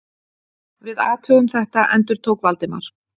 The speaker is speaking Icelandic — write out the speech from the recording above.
Við athugum þetta- endurtók Valdimar.